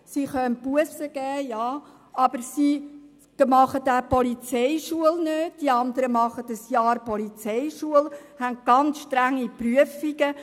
Sie können Bussen erteilen, absolvieren jedoch nicht die einjährige Polizeischule mit anstrengenden Prüfungen.